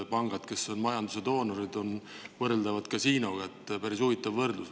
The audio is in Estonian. Pangad, kes on majanduse doonorid, on võrreldavad kasiinoga – päris huvitav võrdlus.